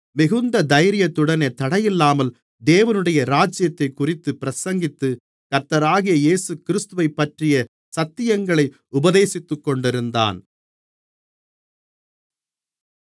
மிகுந்த தைரியத்துடனே தடையில்லாமல் தேவனுடைய ராஜ்யத்தைக்குறித்துப் பிரசங்கித்து கர்த்தராகிய இயேசுகிறிஸ்துவைப்பற்றிய சத்தியங்களை உபதேசித்துக்கொண்டிருந்தான்